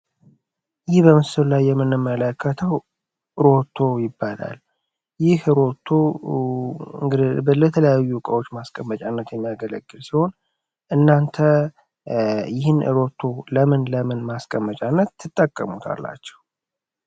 ይህ በምስሉ ላይ የምንመለከተው ሮቶ ይባላል። ይህም ሮቶ ለተለያዩ እቃዎች ለማስቀመጥ የሚያገለግል ሲሆን እናንተ ይህን ሮቶ ለምን ለምን ማስቀመጫነት ትጠቀሙታላችሁ?